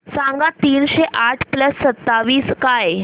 सांगा तीनशे आठ प्लस सत्तावीस काय